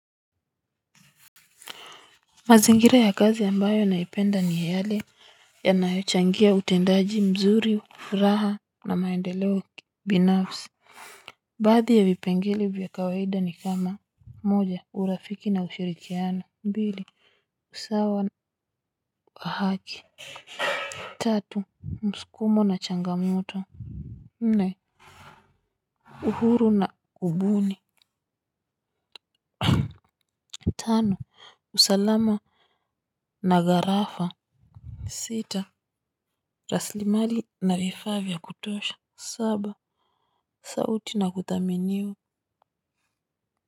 Mazingira ya kazi ambayo naipenda ni yale yanayochangia utendaji mzuri furaha na maendeleo binafsi. Baadhi ya vipengele vya kawaida ni kama moja urafiki na ushirikiano. Mbili usawa wa haki. Tatu msukumo na changamoto. Nne uhuru na kubuni. Tano usalama na garafa. Sita rasilimali na vifaa vya kutosha. Saba sauti na kuthaminiwa.